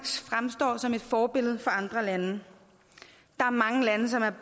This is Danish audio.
fremstår som et forbillede for andre lande der er mange lande som er